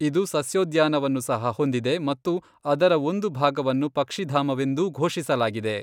ಇದು ಸಸ್ಯೋದ್ಯಾನವನ್ನು ಸಹ ಹೊಂದಿದೆ ಮತ್ತು ಅದರ ಒಂದು ಭಾಗವನ್ನು ಪಕ್ಷಿಧಾಮವೆಂದೂ ಘೋಷಿಸಲಾಗಿದೆ.